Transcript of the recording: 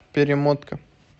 перемотка